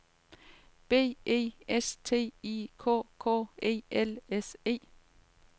B E S T I K K E L S E